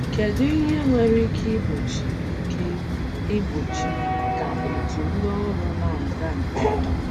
Kedu ihe nwere ike igbochi ike igbochi ka otu ndị ọrụ na-aga nke ọma?